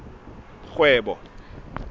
kgwebo